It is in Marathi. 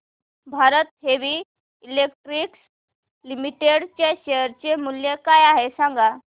भारत हेवी इलेक्ट्रिकल्स लिमिटेड च्या शेअर चे मूल्य काय आहे सांगा